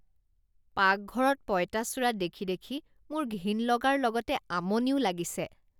পাকঘৰত পঁইতাচোৰা দেখি দেখি মোৰ ঘিণ লগাৰ লগতে আমনিও লাগিছে।